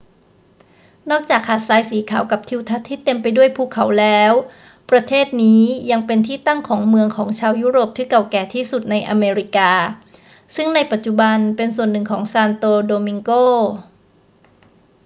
นอกจากหาดทรายสีขาวกับทิวทัศน์ที่เต็มไปด้วยภูเขาแล้ว ประเทศนี้ยังเป็นที่ตั้งของเมืองของชาวยุโรปที่เก่าแก่ที่สุดในอเมริกา ซึ่งในปัจจุบันเป็นส่วนหนึ่งของซานโตโดมิงโก